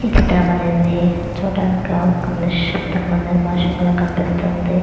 ఇ చిత్రం అనేది చుడానికి గ ఒక నిశబదం --]